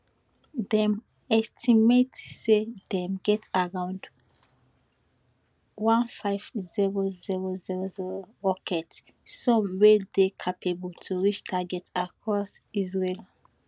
dem estimate say dem get around 150000 rockets some wey dey capable to reach targets across israel